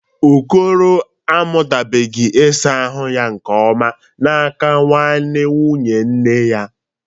Okoro amụtabụghị ịsa ahụ ya nke ọma n'aka nwanne nwanyị nne ya.